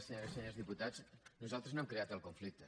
senyores i senyors diputats nosaltres no hem creat el conflicte